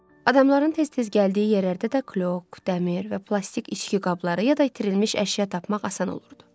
Adamların tez-tez gəldiyi yerlərdə də küllük, dəmir və plastik içki qabları ya da itirilmiş əşya tapmaq asan olurdu.